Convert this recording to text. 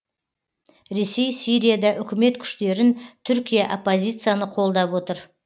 ресей сирияда үкімет күштерін түркия оппозицияны қолдап отыр